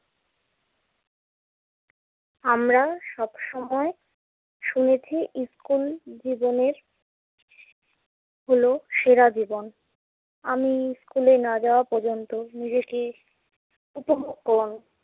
আমরা সবসময় শুনেছি স্কুল জীবনের হলো সেরা জীবন। আমি স্কুলে না যাওয়া পর্যন্ত নিজেকে